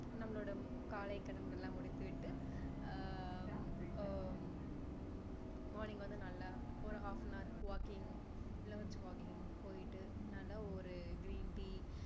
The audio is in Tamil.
நம்மளோட காலை கடங்கள் எல்லாம் முடித்தி விட்டு ஆஹ் அஹ் morning வந்து நல்லா ஒரு half an hour walking இல்ல ஒரு jogging போயிட்டு நல்ல ஒரு green tea